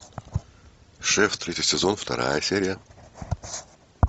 шеф третий сезон вторая серия